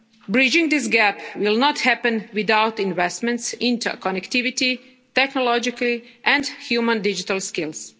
Bridging this gap will not happen without investments, interconnectivity, technological and human digital skills.